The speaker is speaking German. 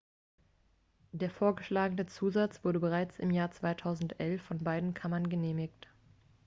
der vorgeschlagene zusatz wurde bereits im jahr 2011 von beiden kammern genehmigt